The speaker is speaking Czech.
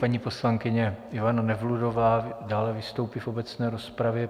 Paní poslankyně Ivana Nevludová dále vystoupí v obecné rozpravě.